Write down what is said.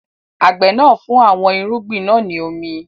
Àgbẹ̀ náà ń fún àwọn irúgbìn náà ní omi.